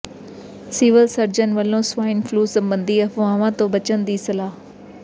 civil surgeon ਵੱਲੋਂ swine flu ਸਬੰਧੀ ਅਫ਼ਵਾਹਾਂ ਤੋਂ ਬਚਣ ਦੀ ਸਲਾਹ